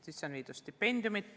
Sisse on viidud stipendiumid.